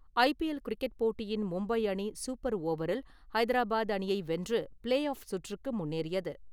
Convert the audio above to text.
ஐ P L cricket போட்டியின் மும்பை அணி super ஓவரில் ஐதராபாத் அணியை வென்று ப்ளே ஆஃப் சுற்றுக்கு முன்னேறியது.